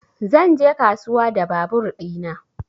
Zan je kasuwa da babur ɗina